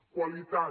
qualitat